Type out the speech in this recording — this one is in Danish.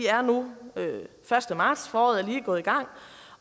er nu første marts foråret er lige gået i gang